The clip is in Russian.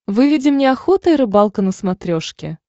выведи мне охота и рыбалка на смотрешке